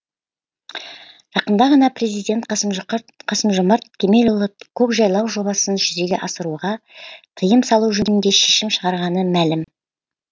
жақында ғана президент қасым жомарт кемелұлы көкжайлау жобасын жүзеге асыруға тыйым салу жөнінде шешім шығарғаны мәлім